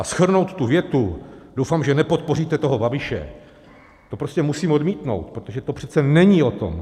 A shrnout tu větu "doufám, že nepodpoříte toho Babiše", to prostě musím odmítnout, protože to přece není o tom.